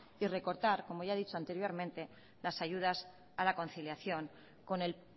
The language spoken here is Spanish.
y recortar como ya he dicho anteriormente las ayudas a la conciliación con el